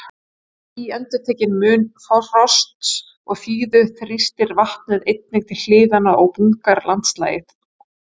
Við síendurtekinn mun frosts og þíðu þrýstir vatnið einnig til hliðanna og bungar landslagið.